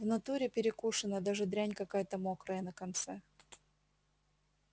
в натуре перекушена даже дрянь какая-то мокрая на конце